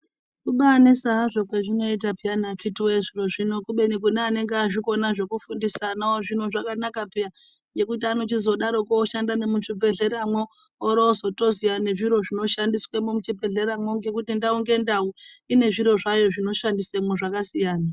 Kubaanesa kwazvo kwazvinoita zviro izvii akiti woye kubeni kune anenge azvikona zvokufundisa anawo zvakanaka piya ngekuti anochizodaroko oshanda nemuzvibhedhleramwo orozotoziya nezviro zvinoshandiswamwo muzvibhedhleramwo ngekuti ndau ngendau ine zviro zvayo zvino shandiswemo zvakasiyana .